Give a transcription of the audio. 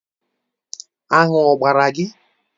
Aṅụ ọ gbara gị?